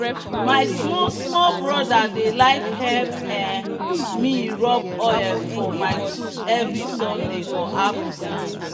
my small small brother dey like help um me rub oil for my tools every sunday for afternoon.